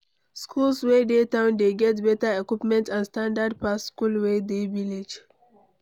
Schools wey dey town dey get better equipments and standard pass school wey dey village